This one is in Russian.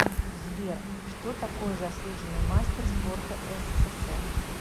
сбер что такое заслуженный мастер спорта ссср